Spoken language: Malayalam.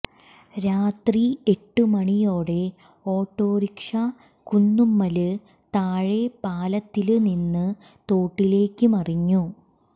രാത്രി എട്ട് മണിയോടെ ഓട്ടോറിക്ഷ കുന്നുമ്മല് താഴെ പാലത്തില് നിന്ന് തോട്ടിലേക്ക് മറിഞ്ഞു